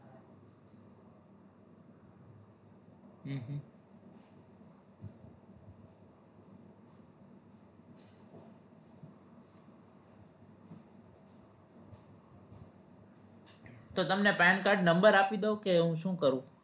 તો તમને pan card number આપી દવ કે હું શું કરું?